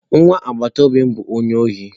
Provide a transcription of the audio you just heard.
Nwa agbataobi m bu onye ohi?